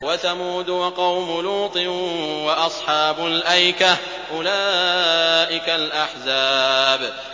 وَثَمُودُ وَقَوْمُ لُوطٍ وَأَصْحَابُ الْأَيْكَةِ ۚ أُولَٰئِكَ الْأَحْزَابُ